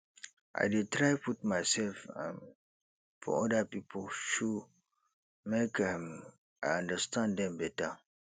i dey try put mysef um for oda pipo shoe make um i understand dem beta